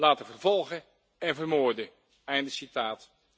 laten vervolgen en vermoorden. Einde citaat.